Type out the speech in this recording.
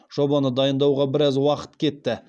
жобаны дайындауға біраз уақыт кетті